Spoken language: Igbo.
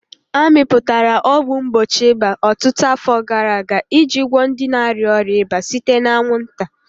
A mepụtara ọgwụ mgbochi ịba ọtụtụ afọ gara aga iji gwọọ ndị na-arịa ọrịa ịba site na anwụnta.